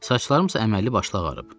Saçlarım isə əməlli başlı ağarıb.